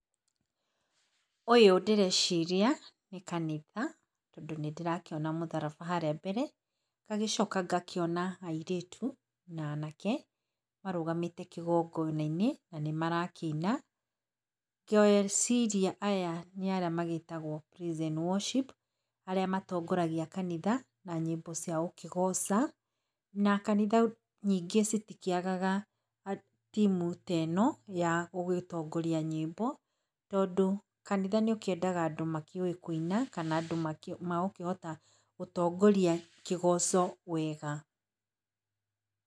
Ũyũ ndĩreciria nĩ kanitha, tondũ nĩ ndĩrakĩona mũthraba harĩa mbere, ngagĩcoka ngona airĩtu na anake marũgamĩte kĩgongona-inĩ na nĩ marakĩina. Ngegĩciria aya nĩ arĩa magĩtagwo praise and worship, arĩa matongoragia kanitha na nyĩmbo cia gũkĩgoca, na kanitha nyingĩ citikĩagaga timu ta ĩno ya gũgĩtongoria nyĩmbo tondũ kanitha nĩũkĩendaga andũ makĩũĩ kũina kana andũ magũkĩhota gũtongoria kĩgoco wega.